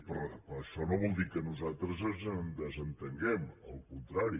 però això no vol dir que nosaltres ens en desentenguem al contrari